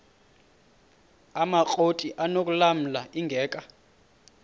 amakrot anokulamla ingeka